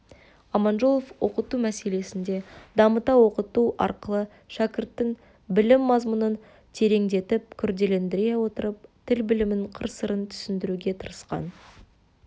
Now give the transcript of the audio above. аманжолов оқыту мәселесінде дамыта оқыту арқылы шәкірттің білім мазмұнын тереңдетіп күрделендіре отырып тіл білімінің қыр-сырын түсіндіруге тырысқан